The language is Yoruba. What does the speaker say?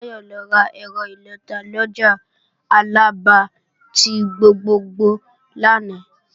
Táyọ̀ lọ rà ẹ̀rọ ìlọta lọjà Alaba ti gbogbogbò lánàá